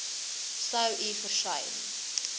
sou u versuim